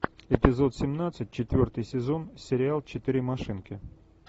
эпизод семнадцать четвертый сезон сериал четыре машинки